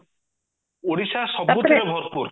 ଓଡିଶା ସବୁହତିରେ ଭରପୁର